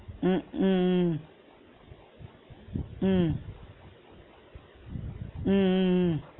ஹம் ஹம் உம் உம் உம் உம்